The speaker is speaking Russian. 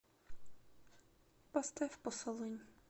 поставь посолонь